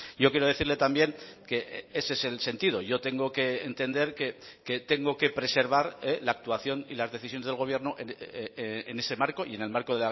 yo quiero decirle también que ese es el sentido yo tengo que entender que tengo que preservar la actuación y las decisiones del gobierno en ese marco y en el marco